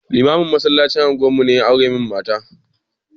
Limamin masallacin unguwar mu ne ya aura min mata ta